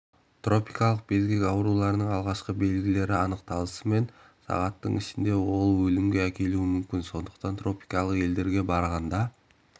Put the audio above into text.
тропикалық безгек аурудың алғашқы белгілері анықталысымен сағаттың ішінде ол өлімге әкелуі мүмкін сондықтан тропикалық елдерге барғанда